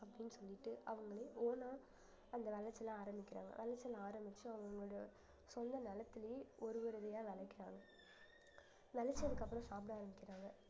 அப்படின்னு சொல்லிட்டு அவங்களே own ஆ அந்த விளைச்சலை ஆரம்பிக்கிறாங்க விளைச்சல் ஆரம்பிச்சு அவுங்களுடைய சொந்த நிலத்திலேயே ஒரு ஒரு விதையா விளைக்கிறாங்க விளச்சதுக்கு அப்புறம் சாப்பிட ஆரம்பிக்கிறாங்க